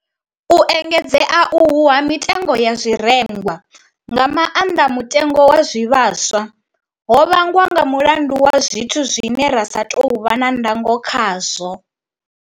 U engedzea uhu ha mitengo ya zwirengwa, nga maanḓa mutengo wa zwivhaswa, ho vhangwa nga mulandu wa zwithu zwine ra sa tou vha na ndango khazwo.